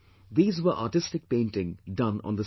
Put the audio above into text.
These were artistic painting done on the station